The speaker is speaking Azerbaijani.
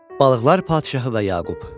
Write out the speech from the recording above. Balıqlar padşahı və Yaqub.